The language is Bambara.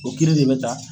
O kiiri de bɛ ta